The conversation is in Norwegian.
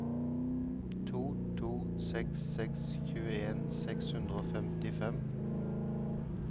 to to seks seks tjueen seks hundre og femtifem